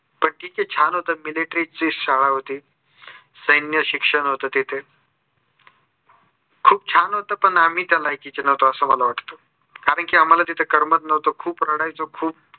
पण तिथे छान होतं military ची शाळा होती. सैन्य शिक्षण होते तिथे. खूप छान होतं पण आम्ही त्या लायकीचे नव्हतो असं मला वाटतं कारण की आम्हाला तिथे करमत नव्हतं खूप रडायचो खूप